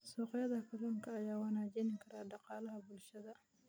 Suuqyada kalluunka ayaa wanaajin kara dhaqaalaha bulshada.